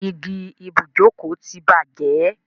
Igi ibùjókòó ti bàjẹ́.